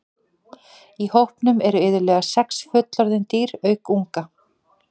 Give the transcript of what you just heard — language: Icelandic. Í hópnum eru iðulega sex fullorðin dýr auk unga.